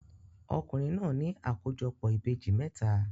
Ọkùnrin náà ní àkójọpọ̀ ìbejì mẹ́ta.